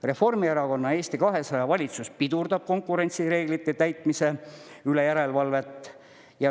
Reformierakonna ja Eesti 200 valitsus pidurdab konkurentsireeglite täitmise üle järelevalvet.